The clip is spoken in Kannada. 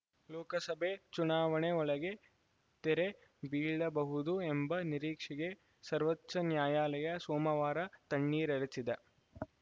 ಲೋಕಸಭೆ ಚುನಾವಣೆ ಒಳಗೆ ತೆರೆ ಬೀಳಬಹುದು ಎಂಬ ನಿರೀಕ್ಷೆಗೆ ಸರ್ವೋಚ್ಚ ನ್ಯಾಯಾಲಯ ಸೋಮವಾರ ತಣ್ಣೀರೆರಚಿದೆ